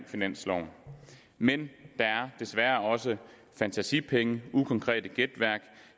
finansloven men der er desværre også fantasipenge og ukonkret gætværk